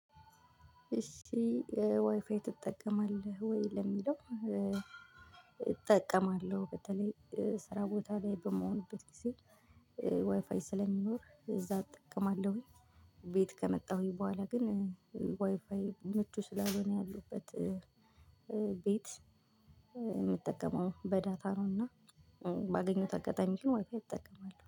እሺ ዋይፋይ ትጠቀማለህ ወይ ለሚለው? እጠቀማለሁ በተለይ ስራ ቦታ ላይ በምሆንበት ጊዜ ዋይፋይ ስለሚኖር እዛ እጠቀማለሁኝ ቤት ከመጣሁኝ በኋላ። ግን ዋይፋይ ምቹ ስላልሆነ ያሉበት ቤት የምጠቀመው በዳታ ነው። እና ባገኘሁት አጋጣሚ ግን ዋይፋይ እጠቀማለሁ